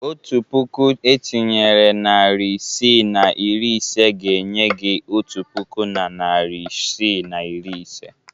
Otu puku etinyere narị isii na iri ise ga-enye gị otu puku na narị isii na iri ise.